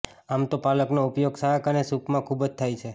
આમ તો પાલકનો ઉપયોગ શાક અને સૂપમાં ખૂબ જ થાય છે